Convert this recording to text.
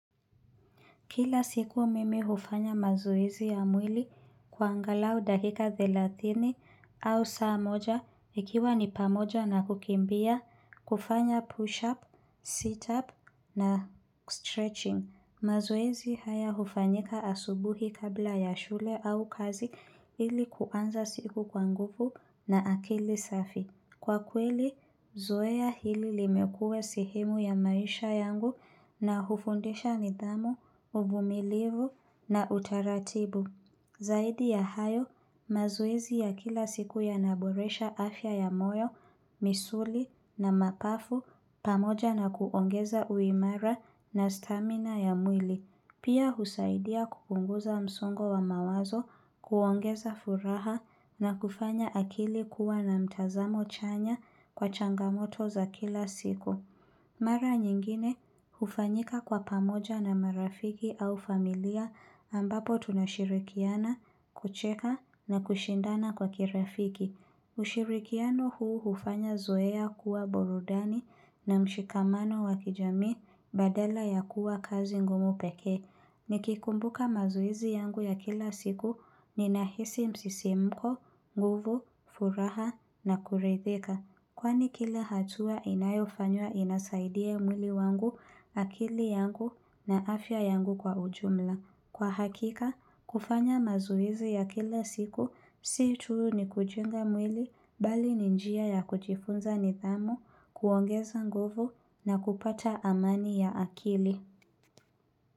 Kila siku mimi hufanya mazoezi ya mwili kwa angalau dakika thelathini au saa moja, ikiwa ni pamoja na kukimbia, kufanya push up, sit up na stretching. Mazoezi haya hufanyika asubuhi kabla ya shule au kazi ili kuanza siku kwa nguvu na akili safi. Kwa kweli, zoea hili limekua sehemu ya maisha yangu na hufundisha nidhamu, uvumilivu na utaratibu. Zaidi ya hayo, mazoezi ya kila siku yanaboresha afya ya moyo, misuli na mapafu pamoja na kuongeza uimara na stamina ya mwili. Pia husaidia kupunguza msongo wa mawazo kuongeza furaha na kufanya akili kuwa na mtazamo chanya kwa changamoto za kila siku. Mara nyingine, hufanyika kwa pamoja na marafiki au familia ambapo tunashirikiana, kucheka na kushindana kwa kirafiki. Ushirikiano huu hufanya zoea kuwa burudani na mshikamano wa kijami badala ya kuwa kazi ngumu peke. Nikikumbuka mazoezi yangu ya kila siku ni nahisi msisimko, nguvu, furaha na kurethika. Kwani kila hatua inayofanywa inasaidia mwili wangu akili yangu na afya yangu kwa ujumla. Kwa hakika, kufanya mazoezi ya kila siku, si tu ni kujenga mwili, bali ni njia ya kujifunza nidhamu, kuongeza nguvu na kupata amani ya akili.